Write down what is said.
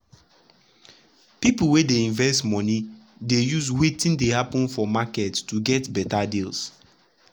people wey dey invest money dey use wetin dey happen for market to get better deals.